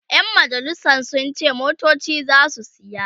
ƴan majalisan sun ce motoci zasu saya